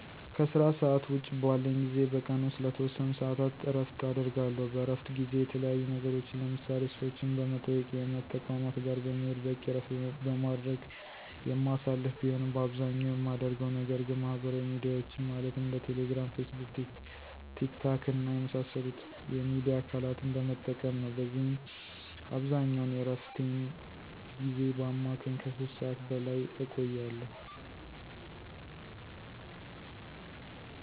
ከስራ ሰዓት ውጭ ባለኝ ጊዜ በቀን ውስጥ ለተወሰኑ ሰዓታት እረፍት አደርጋለሁ። በእረፍት ጊዜየ የተለያዩ ነገሮችን ለምሳሌ፦ ሰዎችን በመጠየቅ፣ የእምነት ተቋማት ጋር በመሄድ፣ በቂ እረፍት በማድረግ የማሳልፍ ቢሆንም በአብዛኛው የማደርገው ነገር ግን ማህበራዊ ሚዲያዎችን ማለትም እንደ ቴሌ ግራም፣ ፌስቡክ፣ ቲክ ታክ እና የመሳሰሉት የሚዲያ አካለትን በመጠቀም ነው። በዚህም አብዛኛውን የእረፍቴን ጊዜ በአማካኝ ከ 3 ሰዓት በላይ እቆያለሁ።